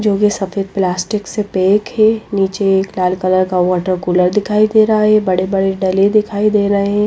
जो कि सफेद प्लास्टिक से पैक है नीचे एक लाल कलर का वाटर कूलर दिखाई दे रहा है बड़े-बड़े डले दिखाई दे रहे हैं।